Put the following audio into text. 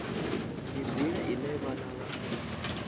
ndi nḓila ine vhanna vha